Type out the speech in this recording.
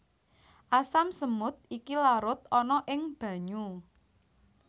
Asam semut iki larut ana ing banyu